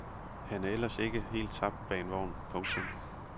Han er ellers ikke er helt tabt bag af en vogn. punktum